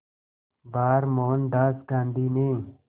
बार मोहनदास गांधी ने